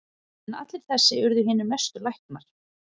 En allir þessir urðu hinir mestu læknar.